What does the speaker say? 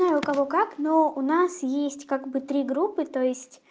ну у кого как но у нас есть как бы три группы то есть